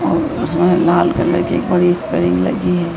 और इसमें लाल कलर की एक बड़ी स्प्रिंग लगी है।